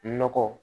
Nɔgɔ